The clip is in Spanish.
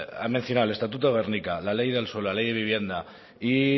ha mencionado el estatuto de gernika la ley del suelo la ley de vivienda y